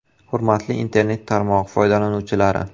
“Hurmatli internet tarmog‘i foydalanuvchilari!